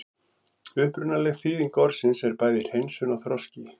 Upprunaleg þýðing orðsins er bæði hreinsun og þroski.